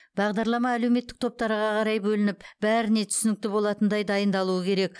бағдарлама әлеуметтік топтарға қарай бөлініп бәріне түсінікті болатындай дайындалуы керек